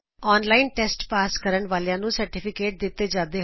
online test pass ਕਰਨ ਵਾਲੇ ਛਾਤ੍ਰਾਂ ਨੂੰ ਸਰਟੀਫਿਕੇਟ ਦਿੱਤਾ ਜਾਂਦਾ ਹੈ